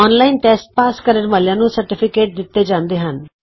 online test pass ਕਰਨ ਵਾਲਿਆਂ ਨੂੰ ਸਰਟੀਫਿਕੇਟ ਦਿਤਾ ਜਾਂਦਾ ਹੈ